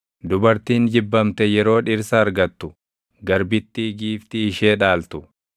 dubartiin jibbamte yeroo dhirsa argattu, garbittii giiftii ishee dhaaltu.